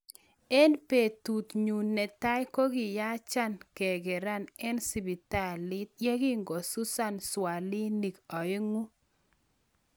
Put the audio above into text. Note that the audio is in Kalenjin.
Eng petut nyuun netai kokiyacha kekeraa eng sipitali yegingosusaa swialinik oeng'u